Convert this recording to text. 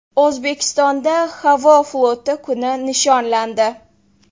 O‘zbekistonda havo floti kuni nishonlandi.